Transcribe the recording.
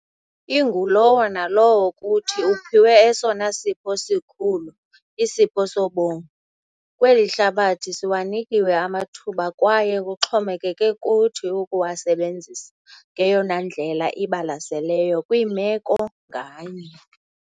Ingulowo nalowo kuthi uphiwe esona sipho sikhulu - isipho sobomi. Kweli hlabathi siwanikiwe amathuba kwaye kuxhomekeke kuthi ukuwasebenzisa ngeyona ndlela ibalaseleyo kwimeko nganye.